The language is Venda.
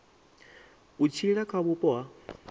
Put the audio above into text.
u tshila kha vhupo ha